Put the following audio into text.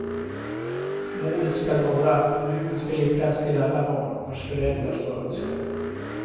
Målet ska vara att kommunen ska ge plats till alla barn, vars föräldrar så önskar.